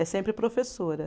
É sempre professora.